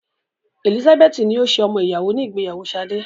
Elizabeth ni ó ṣe ọmọ ìyàwó ní ìgbéyàwó Sade.